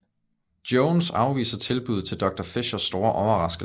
Jones afviser tilbuddet til Doctor Fischers store overraskelse